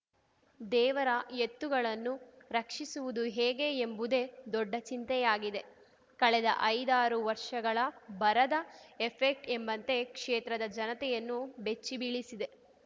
ದೇವರ ಎತ್ತುಗಳನ್ನು ರಕ್ಷಿಸುವುದು ಹೇಗೆ ಎಂಬುದೇ ದೊಡ್ಡ ಚಿಂತೆಯಾಗಿದೆ ಕಳೆದ ಐದಾರು ವರ್ಷಗಳ ಬರದ ಎಫೆಕ್ಟ್ ಎಂಬಂತೆ ಕ್ಷೇತ್ರದ ಜನತೆಯನ್ನು ಬೆಚ್ಚಿ ಬೀಳಿಸಿದೆ